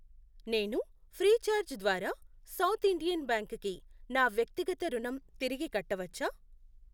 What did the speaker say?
నేను ఫ్రీచార్జ్ ద్వారా South Indian Bank కి నా వ్యక్తిగత రుణం తిరిగి కట్టవచ్చా?